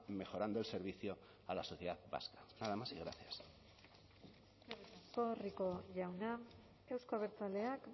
mejorando el servicio a la sociedad vasca nada más y gracias eskerrik asko rico jauna euzko abertzaleak